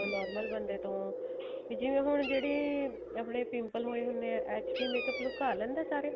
normal ਬੰਦੇ ਤੋਂ ਜਿਵੇਂ ਹੁਣ ਜਿਹੜੀ ਆਪਣੇ pimple ਹੋਏ ਹੁਣੇ ਏ HD makeup ਲੁੱਕਾ ਲੈਂਦਾ ਸਾਰੇ